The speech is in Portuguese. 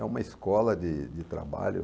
É uma escola de de trabalho.